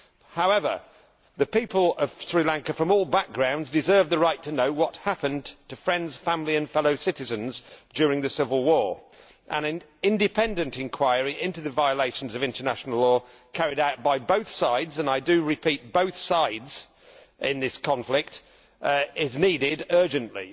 However, people of Sri Lanka from all backgrounds deserve the right to know what happened to friends, family and fellow citizens during the civil war. An independent inquiry into the violations of international law committed by both sides and, I repeat, both sides in this conflict is needed urgently.